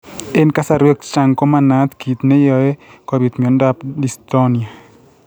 Eng' kasarwek chechang' ko manaat kiit neyoe kobit miondop limb dystonia